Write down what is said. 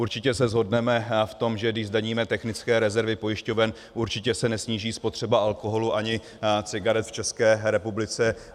Určitě se shodneme v tom, že když zdaníme technické rezervy pojišťoven, určitě se nesníží spotřeba alkoholu ani cigaret v České republice.